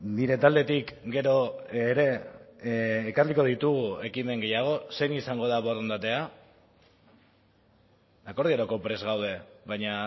nire taldetik gero ere ekarriko ditugu ekimen gehiago zein izango da borondatea akordiorako prest gaude baina